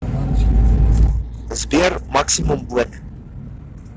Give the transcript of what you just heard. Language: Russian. сбер максимум блэк